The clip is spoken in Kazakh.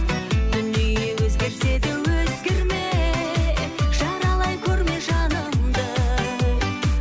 дүние өзгерсе де өзгерме жаралай көрме жанымды